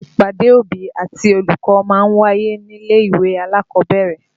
Ìpàdé òbí àti olùkọ́ ma ń wáyé nílé-ìwé alákọ̀ọ́bẹ̀rẹ̀